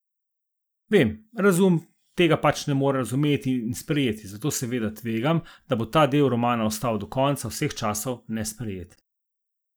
Vem, razum tega pač ne more razumeti in sprejeti, zato seveda tvegam, da bo ta del romana ostal do konca vseh časov nesprejet.